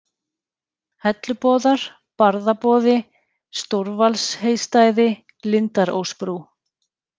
Helluboðar, Barðaboði, Stórvalsheystæði, Lindarósbrú